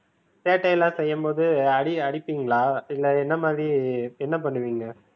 சேட்டையெல்லாம் செய்யும் போது அடி அடிப்பீங்களா இல்ல என்ன மாதிரி என்ன பண்ணுவீங்க?